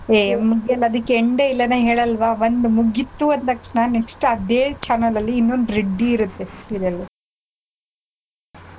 ಏ ಮುಗಿಯೋಲ್ಲ ಅದಿಕ್ಕೆ end ಏ ಇಲ್ಲ ಅದೇ ಹೇಳಲ್ವಾ ಒಂದ್ ಮುಗಿತು ಅಂದ್ ತಕ್ಷಣ next ಅದೇ channel ಅಲ್ಲಿ ಇನ್ನೊಂದ್ ready ಇರುತ್ತೆ serial .